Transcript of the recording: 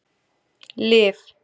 Liv